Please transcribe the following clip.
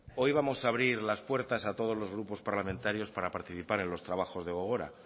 hoy vamos a abrir las puertas a todos los grupos parlamentarios para participar en los trabajos de gogora